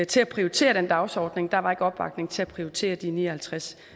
til at prioritere den dagsorden der var ikke opbakning til at prioritere de ni og halvtreds